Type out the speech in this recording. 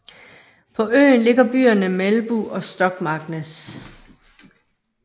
På øen ligger byerne Melbu og Stokmarknes